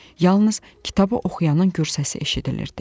Yalnız kitabı oxuyanın gür səsi eşidilirdi.